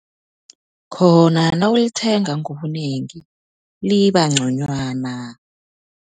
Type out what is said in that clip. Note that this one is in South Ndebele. Khona nawulithenga ngobunengi liba nconywana.